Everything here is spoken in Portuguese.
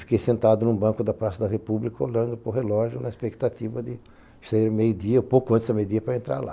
Fiquei sentado num banco da Praça da República olhando para o relógio na expectativa de sair meio-dia, pouco antes da meio-dia, para entrar lá.